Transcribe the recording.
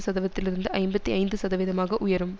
சதவீதத்திலிருந்து ஐம்பத்தி ஐந்து சதவீதமாக உயரும்